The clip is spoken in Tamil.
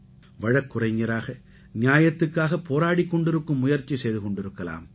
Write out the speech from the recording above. வழக்குரைஞராக நியாயத்துக்காகப் போராடிக் கொண்டிருக்கும் முயற்சி செய்து கொண்டிருக்கலாம்